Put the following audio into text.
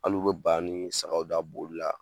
Hal'u bɛ ba ni sagaw da boli la,